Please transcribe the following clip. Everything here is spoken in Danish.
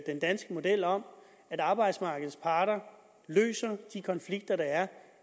den danske model om at arbejdsmarkedets parter løser de konflikter der er